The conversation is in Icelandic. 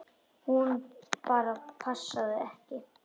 Hún bara passaði ekki.